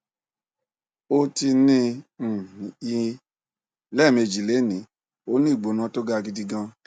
ó ti ní um i lẹẹmejì lénìí ó ní ìgbóna tó ga gidi gan